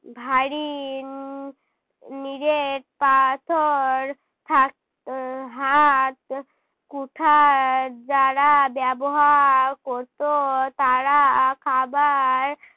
ভারী উম নিরেট পাথর থাক উহ হাতকুঠার যারা ব্যবহার করতো তারা আহ খাবার